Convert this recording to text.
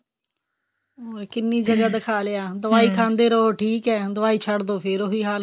ਅਹ ਕਿੰਨੀ ਜਗ੍ਹਾ ਦਿਖਾ ਲਿਆ ਦਵਾਈ ਖਾਂਦੇ ਰਹੋ ਠੀਕ ਏ ਦਵਾਈ ਛੱਡ ਦੋ ਫਿਰ ਉਹੀ ਹਾਲ